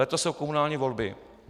Letos jsou komunální volby.